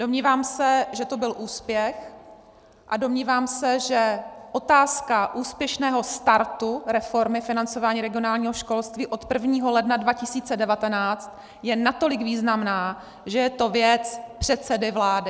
Domnívám se, že to byl úspěch, a domnívám se, že otázka úspěšného startu reformy financování regionálního školství od 1. ledna 2019 je natolik významná, že je to věc předsedy vlády.